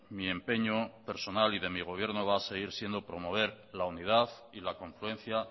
mi empeño personal y de mi gobierno va a seguir siendo promover la unidad y la confluencia